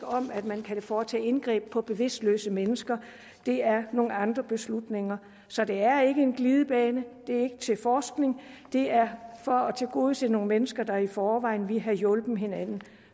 om at man kan foretage indgreb på bevidstløse mennesker det er nogle andre beslutninger så det er ikke en glidebane det er ikke til forskning det er for at tilgodese nogle mennesker der i forvejen ville have hjulpet hinanden